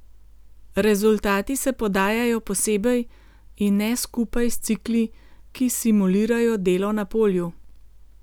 Rezultati se podajajo posebej in ne skupaj s cikli, ki simulirajo delo na polju.